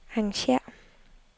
arrangér